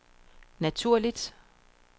naturligt